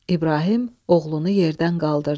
İbrahim oğlunu yerdən qaldırdı.